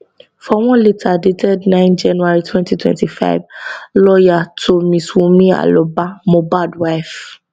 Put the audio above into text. for one letter dated 9 january 2025 lawyer to mrs wunmi aloba mohabd wife